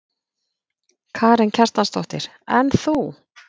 Karen Kjartansdóttir: En þú?